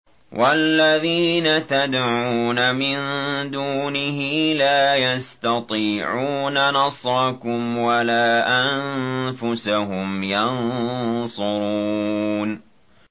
وَالَّذِينَ تَدْعُونَ مِن دُونِهِ لَا يَسْتَطِيعُونَ نَصْرَكُمْ وَلَا أَنفُسَهُمْ يَنصُرُونَ